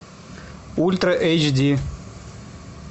ультра эйч ди